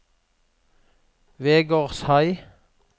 Vegårshei